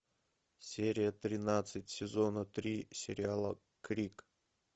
серия тринадцать сезона три сериала крик